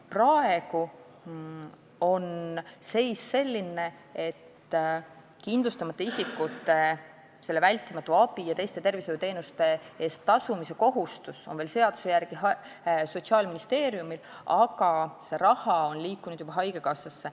Praegu on seis selline, et kindlustamata isikute vältimatu abi ja teiste tervishoiuteenuste eest tasumise kohustus on seaduse järgi veel Sotsiaalministeeriumil, aga see raha on liikunud juba haigekassasse.